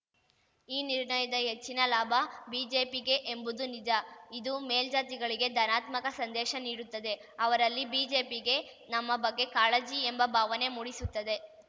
ಈ ನಿರ್ಣಯದ ಹೆಚ್ಚಿನ ಲಾಭ ಬಿಜೆಪಿಗೇ ಎಂಬುದು ನಿಜ ಇದು ಮೇಲ್ಜಾತಿಗಳಿಗೆ ಧನಾತ್ಮಕ ಸಂದೇಶ ನೀಡುತ್ತದೆ ಅವರಲ್ಲಿ ಬಿಜೆಪಿಗೆ ನಮ್ಮ ಬಗ್ಗೆ ಕಾಳಜಿ ಎಂಬ ಭಾವನೆ ಮೂಡಿಸುತ್ತದೆ